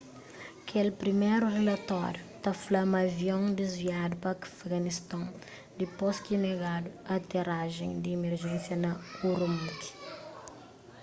kel priméru rilatóriu ta fla ma avion desviadu pa afeganiston dipôs ki negadu aterajen di emerjensia na ürümqi